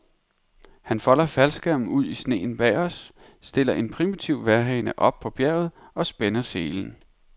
Han folder faldskærmen ud i sneen bag os, stiller en primitiv vejrhane op på bjerget og spænder selen.